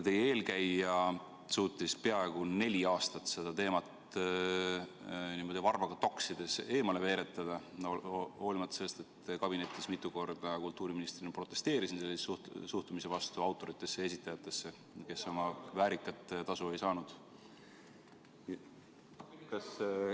Teie eelkäija suutis peaaegu neli aastat seda teemat n-ö varbaga toksides eemale veeretada, hoolimata sellest, et kabinetis ma mitu korda kultuuriministrina protesteerisin sellise suhtumise vastu autoritesse ja esitajatesse, kes väärikat tasu ei saanud.